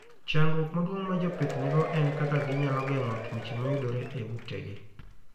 Chandruok maduong' ma jopith nigo en kaka ginyalo geng'o tuoche mayudore e utegi.